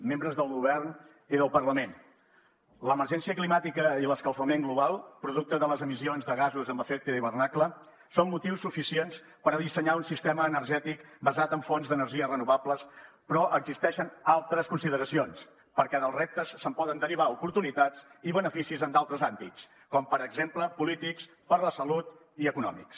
membres del govern i del parlament l’emergència climàtica i l’escalfament global producte de les emissions de gasos amb efecte hivernacle són motius suficients per dissenyar un sistema energètic basat en fonts d’energies renovables però existeixen altres consideracions perquè dels reptes se’n poden derivar oportunitats i beneficis en d’altres àmbits com per exemple polítics per a la salut i econòmics